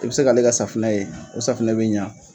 I bɛ se ka ale ka safunɛ ye, o saunɛ bɛ ɲan.